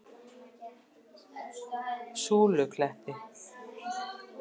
Súlukletti